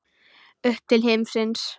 Upp til himins.